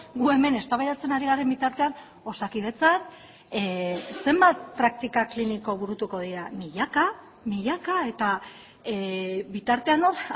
gu hemen eztabaidatzen ari garen bitartean osakidetzan zenbat praktika kliniko burutuko dira milaka milaka eta bitartean hor